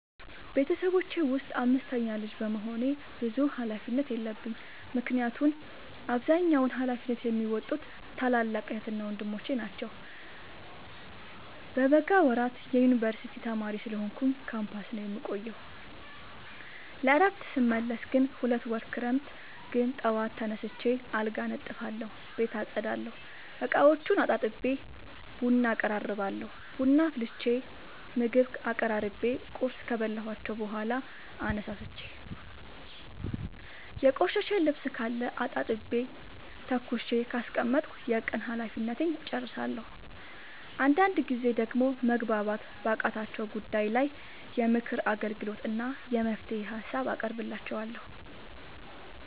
ቤተሰቦቼ ውስጥ አምስተኛ ልጅ በመሆኔ ብዙ ሀላፊነት የለብኝ ምክንያቱን አብዛኛውን ሀላፊነት የሚዎጡት ታላላቅ ዕህትና ወንድሞቼ ናቸው። በበጋ ወራት የዮንበርሲቲ ተማሪ ስለሆንኩኝ ካምፖስ ነው የምቆየው። ለእረፍት ስመለስ ግን ሁለት ወር ክረምት ግን ጠዋት ተነስቼ አልጋ አነጥፋለሁ ቤት አፀዳለሁ፤ እቃዎቹን አጣጥቤ ቡና አቀራርባለሁ ቡና አፍልቼ ምግብ አቀራርቤ ቁርስ ካበላኋቸው በኋላ አነሳስቼ። የቆሸሸ ልብስካለ አጣጥቤ ተኩሼ ካስቀመጥኩ የቀን ሀላፊነቴን እጨርሳለሁ። አንዳንድ ጊዜ ደግሞ መግባባት ባቃታቸው ጉዳይ ላይ የምክር አገልግሎት እና የመፍትሄ ሀሳብ አቀርብላቸዋለሁ።